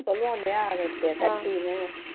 சொல்லுவோம் இல்லையா